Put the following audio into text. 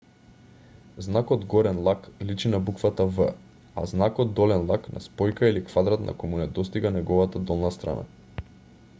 знакот горен лак личи на буквата v а знакот долен лак на спојка или квадрат на кој му недостига неговата долна страна